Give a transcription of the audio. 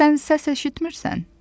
Sən səs eşitmisən?